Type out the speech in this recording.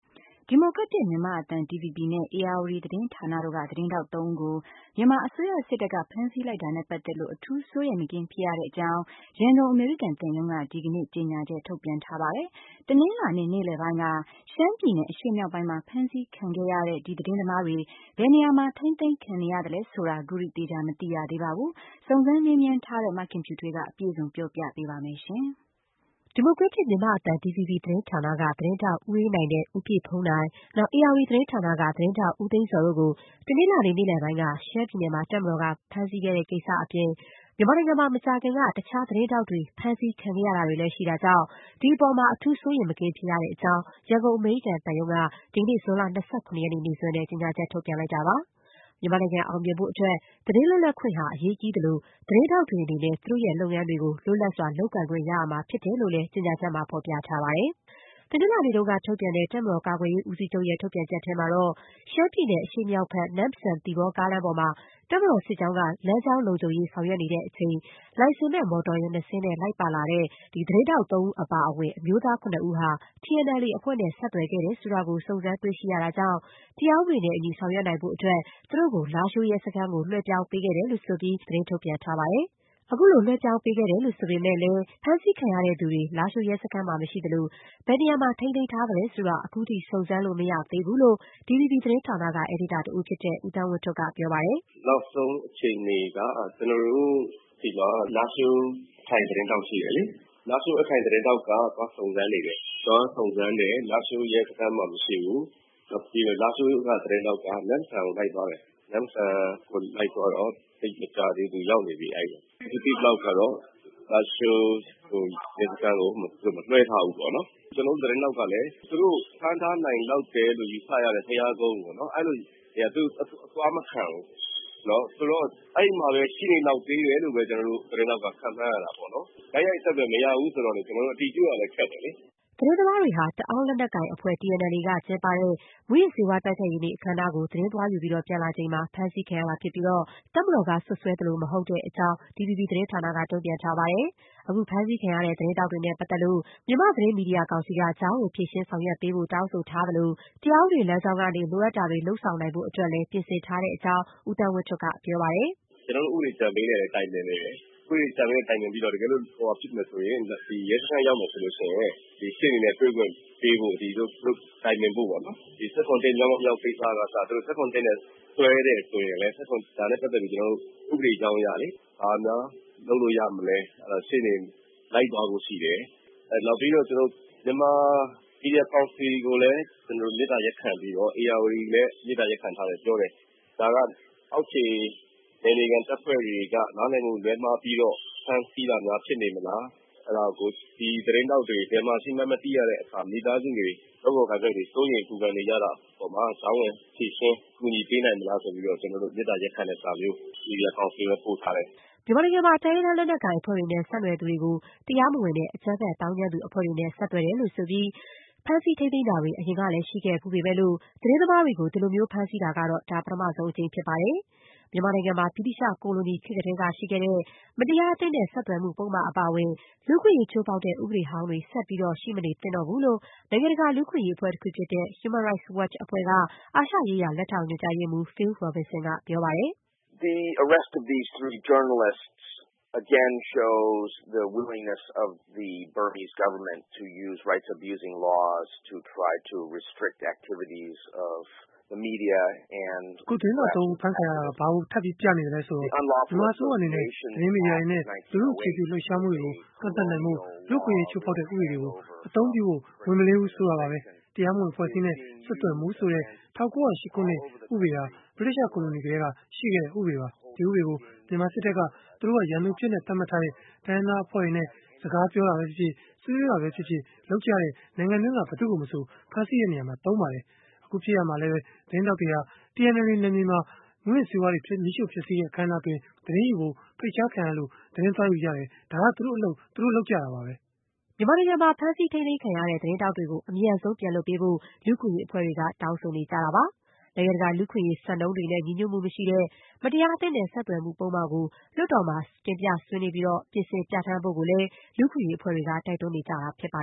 ဒီမိုကရက်တစ်မြန်မာ့အသံ DVB နဲ့ ဧရာဝတီသတင်းဌာန တို့က သတင်းထောက်သုံးဦးကို တပ်မတော်က ဖမ်းဆီးလိုက်တာနဲ့ပတ်သက်လို့ အထူးစိုးရိမ်မကင်း ဖြစ်ရတဲ့အကြောင်း ရန်ကုန် အမေရိကန်သံရုံးက ဒီကနေ့ ကြေညာချက် ထုတ်ပြန်ထားပါတယ်။ တနင်္လာနေ့ နေ့လည်ပိုင်း က ရှမ်းပြည်နယ် အရှေ့မြောက်ပိုင်းမှာ ဖမ်းဆီးခံခဲ့ရတဲ့ ဒီသတင်းသမားတွေ ဘယ်နေရာမှာ ထိန်းသိမ်းခံနေရသလဲ ဆိုတာ ခုထိ သေချာ မသိရသေးပါဘူး။ စုံစမ်းမေးမြန်းထားတဲ့ မခင်ဖြူထွေးက အပြည့်စုံ ပြောပြပေးပါမယ်။ ဒီမိုကရက်တစ်မြန်မာ့အသံ DVB သတင်းဌာနက သတင်းထောက် ဦးအေးနိုင်နဲ့ ဦးပြည့်ဘုန်းနိုင်၊ ဧရာဝတီသတင်းဌာနက သတင်းထောက် ဦးသိန်းဇော် တို့ကို တနင်္လာနေ့ နေ့လည်ပိုင်းက ရှမ်းပြည်နယ်မှာ တပ်မတော်က ဖမ်းဆီးခဲ့တဲ့ကိစ္စအပြင် မြန်မာနိုင်ငံမှာ မကြာခင်က တခြား သတင်းထောက်တွေလည်း ဖမ်းဆီးခံခဲ့ရတာတွေ ရှိတာကြောင့် ဒီအပေါ်မှာ အထူးစိုးရိမ်မကင်း ဖြစ်ရတဲ့အကြောင်း ရန်ကုန် အမေရိကန် သံရုံး က ဒီကနေ့ ဇွန်လ ၂၇ ရက်နေ့ နေ့စွဲနဲ့ ကြေညာချက် ထုတ်ပြန်ထားပါတယ်။ မြန်မာနိုင်ငံ အောင်မြင်မှုဖို့အတွက် သတင်းလွတ်လပ်ခွင့်ဟာ အရေးကြီးသလို၊ သတင်းထောက်တွေ အနေနဲ့ သူတို့လုပ်ငန်းတွေ လွတ်လပ်စွာ လုပ်ကိုင်ခွင့်ရှိရမှာ ဖြစ်တယ်လို့လည်း ကြေညာချက်မှာ ဖော်ပြထားပါတယ်။ တနင်္လာနေ့ကထုတ်ပြန်တဲ့ တပ်မတော်ကာကွယ်ရေးဦးစီးချုပ်ရဲ့ ထုတ်ပြန်ချက်ထဲမှာတော့ - ရှမ်းပြည်နယ် အရှေ့မြောက်ဘက် နမ့်ဆန်-သီပေါ်ကားလမ်းပေါ်မှာ တပ်မတော်စစ်ကြောင်းက လမ်းကြောင်းလုံခြုံရေး ဆောင်ရွက်နေချိန် လိုင်စင်မဲ့ မော်တော်ယာဉ်နှစ်စင်းနဲ့ လိုက်ပါလာတဲ့ ဒီသတင်းထောက်သုံးဦး အပါအဝင် အမျိုးသား ၇ ဦးဟာ TNLA အဖွဲ့နဲ့ ဆက်သွယ်ခဲ့တယ် ဆိုတာ စုံစမ်းတွေ့ရှိရတာကြောင့် တရားဥပဒေနဲ့အညီ ဆောင်ရွက်နိုင်ဖို့အတွက် သူတို့ကို လားရှိုးရဲ စခန်းကို လွှဲပြောင်းပေးခဲ့တဲ့အကြောင်း သတင်းထုတ်ပြန်ထားပါတယ်။ အခုလို လွှဲပြောင်းပေးခဲ့တယ်လို့ ဆိုပေမဲ့၊ ဖမ်းဆီးခံထားရသူတွေ လားရှိုးရဲစခန်းမှာ မရှိသလို၊ ဘယ်နေရာမှာ ထိန်းသိမ်းခံထားရ သလဲ ဆိုတာ ခုထိ စုံစမ်းလို့မရသေးဘူးလို့ DVB သတင်းဌာနက အယ်ဒီတာတဦးဖြစ်တဲ့ ဦးသန်းဝင်းထွဋ်က ပြောပါတယ်။ “နောက်ဆုံးအခြေအနေက ကျနော်တို့မှာ လားရှိုးထိုင်သတင်းထောက်ရှိတယ်လေ၊ လားရှိုး သတင်းထောက်က သွားစုံစမ်းနေတယ် လားရှိုးရဲစခန်းမှာမရှိဘူး။ နောက်ပြီးတော့ လားရှိုးသတင်းထောက်က နမ့်ဆန်ကိုလိုက်သွားတယ် ၊ နမ့်ဆန်ကိုလိုက်သွားတော့ သိပ်မကြာသေးဘူးရောက်နေပြီအဲဒီကိုရောက်နေပြီ။ အခုသိသလောက်ကတော့ လားရှိုးရဲစခန်းကို မလွှဲထားဘူးပေါ့နော်။ ကျနော်တို့သတင်းထောက်ကလည်း ဖမ်းထားနိုင်လောက်တယ်လို့ ယူဆရတဲ့ ဘုရားကုန်းပေါ့နော် အဲဒီကိုတော့ အသွားမခံဘူး ၊ ဆိုတော့ အဲဒီမှာပဲ ရှိနေနိုင်လောက်သေးတယ်လို့ ကျနော်တို့ ခန့်မှန်းရတာပေါ့နော်။ တိုက်ရိုက်အဆက်အသွယ်မရဘူး ဆိုတော့ ကျနော်တို့လည်း အတည်ပြုရခက်တယ်လေ။” သတင်းသမားတွေဟာ တအောင်း လက်နက်ကိုင်အဖွဲ့ TNLA ကကျင်းပတဲ့ မူးယစ်ဆေးဝါးတိုက်ဖျက်ရေးနေ့ အခမ်းအနားကို သတင်းသွားယူပြီး ပြန်လာချိန်မှာ ဖမ်းဆီးခံရတာဖြစ်ပြီး တပ်မတော်ကစွပ်စွဲသလိုမဟုတ်ကြောင်းလည်း DVB သတင်းဌာနက ပြောပါတယ်။ အခု ဖမ်းဆီးခံရတဲ့သတင်းထောက်တွေနဲ့ပတ်သက်လို့ မြန်မာသတင်းမီဒီယာကောင်စီက ကြားဝင် ဖြေရှင်းဆောင်ရွက်ပေးဖို့ တောင်းဆို ထားလို၊ တရားဥပဒေလမ်းကြောင်းကနေ လိုအပ်တာတွေ လုပ်ဆောင်ဖို့လည်း ပြင်ဆင်းထားတဲ့အကြောင်း ဦးသန်းဝင်းထွဋ်က ပြောပါတယ်။ “ကျနော်တို့ ဥပဒေအကြံပေးနဲ့လည်း တိုင်ပင်နေတယ်။ ဥပဒေအကြံပေးနဲ့ တိုင်ပင်ပြီးတော့ တကယ်လို့ ဖြစ်မယ်ဆိုရင် ရဲစခန်းရောက်မယ်ဆိုရင် ရှေ့နေနဲ့ တွေ့ခွင့်ပေးဖို့ တိုင်ပင်ဖို့ပေါ့နော် ၁၇/၁ ကိစ္စကအစ ၊ ၁၇/၁နဲ့ စွဲတယ်ဆိုရင်လည်း ဒါနဲ့ ပတ်သက်ပြီး ဥပဒေအကြောင်းအရ ဘာများလုပ်လို့ရမလဲ ရှေ့နေ လိုက်သွားဖို့ရှိတယ်။ နောက်ပြီးတော့ကျနော်တို့ မြန်မာ မီဒီယာကောင်စီကိုလည်း မေတ္တာရပ်ခံပြီးတော့ ၊ ဧရာဝတီကလည်း မေတ္တာရပ်ခံထားတယ်လို့ပြောတယ်။ ဒါက အောက်ခြေနယ်မြေခံတပ်ဖွဲ့တွေက နားလည်မှုလွဲပြီးတော့ ဖမ်းဆီးတာများဖြစ်နေမလား ၊ သတင်းထောက်တွေဘယ်မှာရှိမှန်းမသိတဲ့အခါ မိသားစုတွေ ၊ လုပ်ဖော်ကိုင်ဖက်တွေ စိုးရိမ်ပူပန်နေကြတဲ့အပေါ်မှာ ကြားဝင်ဖြေရှင်း ကူညီပေးနိုင်မလား ဆိုပြီးတော့ ကျနော်တို့ မေတ္တာရပ်ခံတဲ့စာမျိုး မီဒီယာကောင်စီကိုလည်းပို့ထားတယ်။” မြန်မာနိုင်ငံမှာ တိုင်းရင်းသား လက်နက်ကိုင်အဖွဲ့တွေနဲ့ ဆက်သွယ်သူတွေကို တရားမဝင်တဲ့ အကြမ်းဖက် သောင်းကျန်သူအဖွဲ့တွေနဲ့ ဆက်သွယ်တယ်လို့ ဆိုပြီး ဖမ်းဆီးထိန်းသိမ်းနေတာတွေ အရင်ကလည်း ရှိခဲ့ဖူးပေမဲ့၊ သတင်းသမားတွေကို ဒီလိုမျိုး ဖမ်းဆီးတာကတော့ ဒါ ပထမဆုံးအကြိမ် ဖြစ်ပါတယ်။ မြန်မာနိုင်ငံမှာ ဗြိတိသျှကိုလိုနီခေတ်ကတည်းက ရှိခဲ့တဲ့ မတရားအသင်းနဲ့ဆက်သွယ်မှု ပုဒ်မအပါအဝင် လူ့အခွင့်အရေး ချိုးဖောက်တဲ့ ဥပဒေဟောင်းတွေ ဆက်ပြီး ရှိမနေသင့်တော့ဘူးလို့ နိုင်ငံတကာ လူ့အခွင့်အရေးအဖွဲ့တခုဖြစ်တဲ့ Human Rights Watch အဖွဲ့က အာရှရေးရာ လက်ထောက်ညွန်ကြားရေးမှူး Phil Robinson က ပြောပါတယ်။ “အခု သတင်းထောက်သုံးဦး အဖမ်းခံရတာက ဘာကို ထပ်ပြီးပြသလဲဆိုရင် - မြန်မာအစိုးရအနေနဲ့ သတင်းမီဒီယာတွေနဲ့ လူထုအခြေပြု လှုပ်ရှားမှုတွေကို ကန့်သတ်နိုင်ဖို့အတွက် လူ့အခွင့်အရေး ချိုးဖောက်တဲ့ ဥပဒေတွေကို အသုံးပြုဖို့ ဝန်မလေးဘူးဆိုတာပါပဲ။ တရားမဝင်အဖွဲ့အစည်းနဲ့ ဆက်သွယ်မှု ဆိုတဲ့ ၁၉၀၈ ခုနှစ်ဥပဒေဟာ ဗြိတိန်ကိုလိုနီခေတ်ကတည်းက ရှိခဲ့တဲ့ဥပဒေပါ။ ဒီဥပဒေကို မြန်မာစစ်တပ်က သူတို့ရန်သူအဖြစ် သတ်မှတ်ထားတဲ့ တိုင်းရင်းသားအဖွဲ့တွေနဲ့ စကားပြောတာပဲဖြစ်ဖြစ်၊ ဆွေးနွေးတာပဲဖြစ်ဖြစ် လုပ်တဲ့ နိုင်ငံတွင်းက ဘယ်သူ့ကိုမဆို ဖမ်းဆီးရာမှာ သုံးပါတယ်။ အခုဖြစ်ရပ်မှာလည်း သတင်းထောက်တွေဟာ TNLA နယ်မြေမှာ မူးယစ်ဆေးဝါးတွေ မီးရှို့ဖျက်ဆီးတဲ့အခမ်းအနားမှာ သတင်းယူဖို့ ဖိတ်ကြားခံရလို့ သတင်းယူကြတယ်။ ဒါ သူတို့အလုပ် သူတို့လုပ်တာပါပဲ။” မြန်မာနိုင်ငံမှာ ဖမ်းဆီးခံထားရတဲ့ သတင်းထောက်တွေကို အမြန်ဆုံး ပြန်လွှတ်ပေးဖို့ လူ့အခွင့်အရေးအဖွဲ့တွေက တောင်းဆိုထားပါတယ်။ နိုင်ငံတကာ လူ့အခွင့်အရေး စံနှုန်းတွေနဲ့ ညီညွတ်မှုမရှိတဲ့ မတရားအသင်းနဲ့ဆက်သွယ်မှု ပုဒ်မကို လွှတ်တော်မှာ ဆွေးနွေးပြီး ပြင်ဆင် ပြဌာန်းဖို့လည်း လူ့အခွင့်အရေးအဖွဲ့တွေက တိုက်တွန်းနေကြတာဖြစ်ပါ